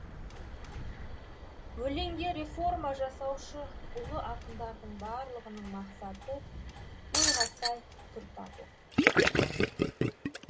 өлеңге реформа жасаушы ұлы ақындардың барлығының мақсаты ойға сай түр табу